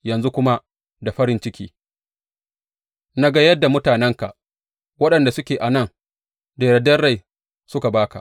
Yanzu kuma da farin ciki na ga yadda mutanenka waɗanda suke a nan da yardar rai suka ba ka.